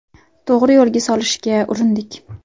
To‘g‘ri yo‘lga solishga urindik.